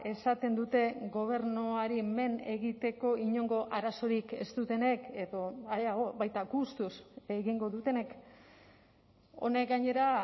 esaten dute gobernuari men egiteko inongo arazorik ez dutenek edo areago baita gustuz egingo dutenek honek gainera